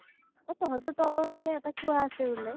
অ । তহঁতৰ তলৰ ফালে এটা কুৱাঁ আছে বুলে ?